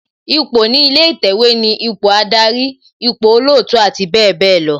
Ipò ní ilé ìtẹ̀wẹ̀ ni ipò Ádárì, ipò olootu abbl.